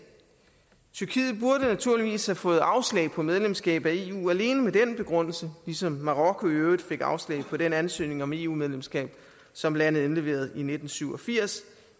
tyrkiet burde naturligvis have fået afslag på medlemskab af eu alene med den begrundelse ligesom marokko i øvrigt fik afslag på den ansøgning om eu medlemskab som landet indleverede i nitten syv og firs